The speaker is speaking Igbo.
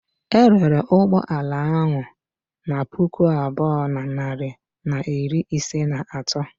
E rere ụgbọ ala ahụ na puku abụọ na narị na iri ise na atọ.